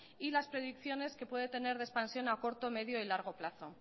y las predicciones que puede tener de expansión a corto medio y largo plazo